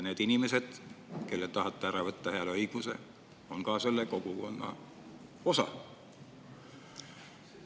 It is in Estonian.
Need inimesed, kellelt te tahate ära võtta hääleõiguse, on ka selle kogukonna osa.